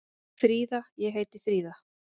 Fríða: Ég heiti Fríða.